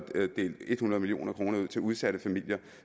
er delt hundrede million kroner ud til udsatte familier